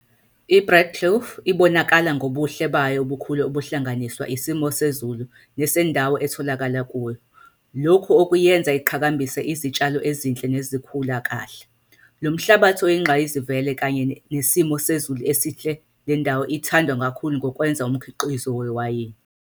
iBreedekloof ibonakala ngobuhle bayo obukhulu obuhlanganiswa isimo sezulu nesendawo etholakala kuyo, lokhu okuyenza iqhakambise izitshalo ezinhle nezikhula kahle. Lomhlabathi oyingqayizivele kanye nesimo sezulu esihle lendawo ithandwe kakhulu ngokwenza umkhiqizo wewayini.